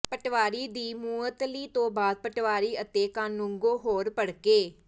ਪਟਵਾਰੀ ਦੀ ਮੁਅੱਤਲੀ ਤੋਂ ਬਾਅਦ ਪਟਵਾਰੀ ਅਤੇ ਕਾਨੂੰਗੋ ਹੋਰ ਭੜਕੇ